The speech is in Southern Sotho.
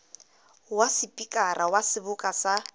wa sepikara wa seboka sa